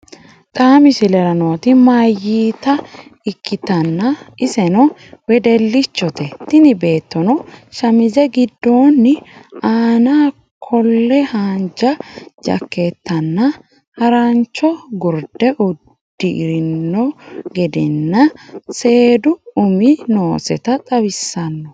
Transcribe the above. Xaa misillera nootti mayitta ekkitana esenno wedelchoote tiini bettono shamizee giidoni anna kolle hanjaa jakettana haranchoo gurdee uudrino gedenna seduu umi nooseta xawisanno.